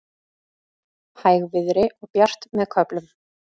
Hægviðri og bjart með köflum